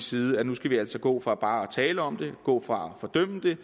side at nu skal vi altså gå fra bare at tale om det gå fra at fordømme det